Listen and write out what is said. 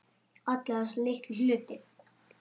Alla þessa litlu hluti.